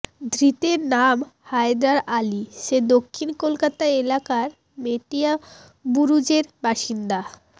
ধৄতের নাম হায়দার আলি সে দক্ষিন কলকাতা এলাকার মেটিয়াবুরুজের বাসিন্দা